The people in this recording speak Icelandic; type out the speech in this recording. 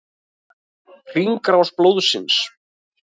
Hringrás blóðsins.